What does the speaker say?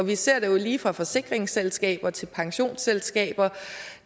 vi ser det jo lige fra forsikringsselskaber til pensionsselskaber